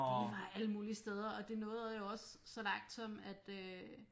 Det var alle mulige steder og det nåede jo også så langt som at øh